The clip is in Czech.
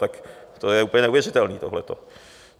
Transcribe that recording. Tak to je úplně neuvěřitelný tohleto.